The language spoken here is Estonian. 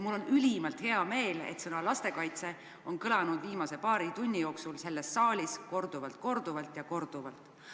Mul on ülimalt hea meel, et sõna "lastekaitse" on kõlanud viimase paari tunni jooksul selles saalis korduvalt, korduvalt ja korduvalt.